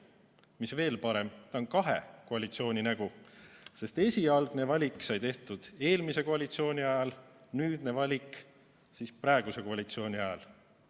Mis veel parem, ta on kahe koalitsiooni nägu, sest esialgne valik sai tehtud eelmise koalitsiooni ajal, nüüdne valik siis praeguse koalitsiooni ajal.